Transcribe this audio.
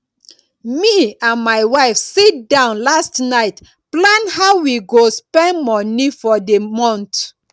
me and my wife sit down last night plan how we go spend money for the month